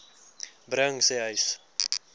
bring sê uys